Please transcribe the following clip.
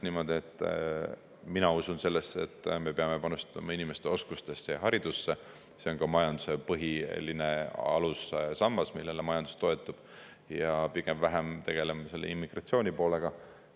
Mina usun sellesse, et me peame panustama inimeste oskustesse ja haridusse – see on ka majanduse põhiline alussammas, millele majandus toetub – ja pigem vähem tegelema immigratsioonipoolega.